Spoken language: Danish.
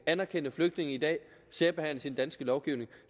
anerkendte flygtninge i dag særbehandles i den danske lovgivning